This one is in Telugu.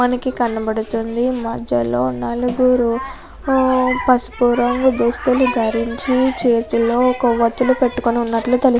మనకి కనబడుతుంది మధ్యలో నలుగురు మ్మ్ పసుపు రంగు దుస్తులు ధరించి చేతిలో కొవ్వొత్తులు పట్టుకుని ఉన్నట్లు తెలుస్తుంది.